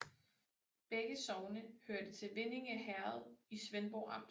Begge sogne hørte til Vindinge Herred i Svendborg Amt